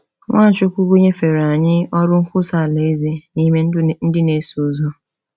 Nwachukwu nyefere anyị ọrụ nkwusa Alaeze na ime ndị na-eso ụzọ.